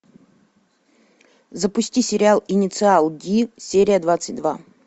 запусти сериал инициал ди серия двадцать два